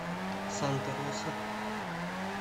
санта роса